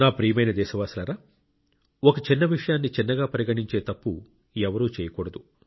నా ప్రియమైన దేశవాసులారా ఒక చిన్న విషయాన్ని చిన్నగా పరిగణించే తప్పు ఎవరూ చేయకూడదు